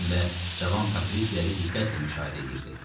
Həm də cavan Patrisləri diqqətlə müşahidə eləyirdi.